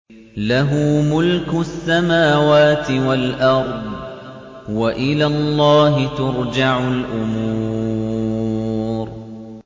لَّهُ مُلْكُ السَّمَاوَاتِ وَالْأَرْضِ ۚ وَإِلَى اللَّهِ تُرْجَعُ الْأُمُورُ